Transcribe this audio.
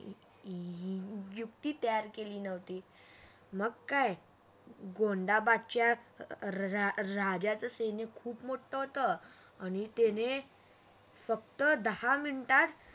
युक्ती तयार केली नव्हती मग काय गोंधाबदच्या राजाचे सैन्य खूप मोठं होत आणि त्याने फक्त दहा मिनिटात